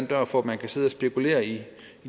dør for at man kan sidde og spekulere i